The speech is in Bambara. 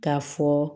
K'a fɔ